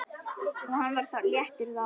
Og hann var léttur þá.